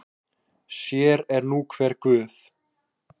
Sér er nú hver guð.